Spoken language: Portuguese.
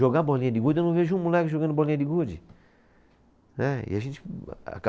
Jogar bolinha de gude, eu não vejo um moleque jogando bolinha de gude. Né, e a gente. A ca